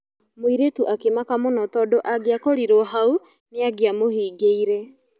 mũirĩtu akĩmaka mũno tondũ angiakorirwo hau nĩangiamũhingĩire.